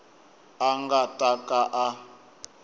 a nga ta ka a